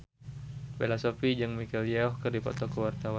Bella Shofie jeung Michelle Yeoh keur dipoto ku wartawan